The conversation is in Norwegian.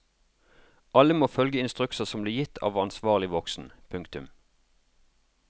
Alle må følge instrukser som blir gitt av ansvarlig voksen. punktum